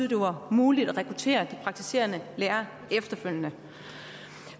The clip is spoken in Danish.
det var muligt at rekruttere de praktiserende læger efterfølgende